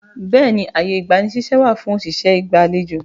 Bẹẹ ni, ààyè ìgbani ṣíṣẹ́ wà fún òṣìṣẹ́ ìgbàlejò